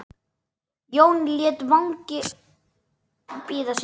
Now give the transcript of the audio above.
Jón lét vagninn bíða sín.